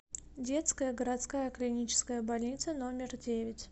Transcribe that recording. детская городская клиническая больница номер девять